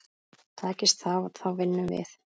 Takist það þá vinnum við.